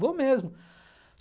Vou mesmo.